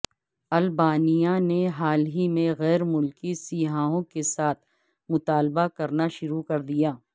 Albania نے حال ہی میں غیر ملکی سیاحوں کے ساتھ مطالبہ کرنا شروع کردیا